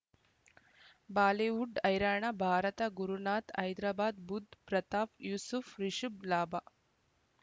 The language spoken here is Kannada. ಬಾಲಿವುಡ್ ಐರಾಣ ಭಾರತ ಗುರುನಾತ್ ಹೈದರಾಬಾದ್ ಬುಧ್ ಪ್ರತಾಪ್ ಯೂಸುಫ್ ರಿಶುಬ್ ಲಾಭ